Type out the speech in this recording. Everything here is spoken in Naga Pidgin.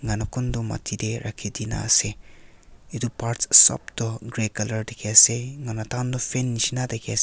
etu kutu maati te rakhi de na ase etu part sob tu gray colour dekhi ase enia hoina taihan toh fan nisna dekhi ase.